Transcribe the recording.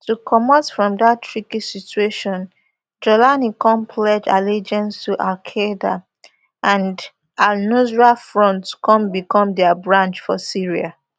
to comot from dat tricky situation jawlani come pledge allegiance to alqaeda and alnusra front come become dia branch for syria